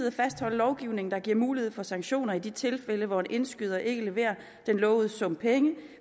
at fastholde lovgivningen der giver mulighed for sanktioner i de tilfælde hvor en indskyder ikke leverer den lovede sum penge